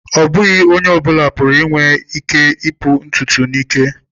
Ọ bụghị onye ọ bụla nwere ike ipu ntutu n'ike.